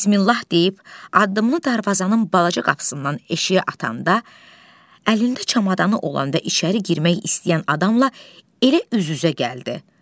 Bismillah deyib addımını darvazanın balaca qapısından eşiyə atanda əlində çamadanı olan və içəri girmək istəyən adamla elə üz-üzə gəldi.